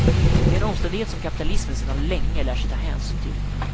Det är en omständighet som kapitalismen sedan länge lärt sig ta hänsyn till.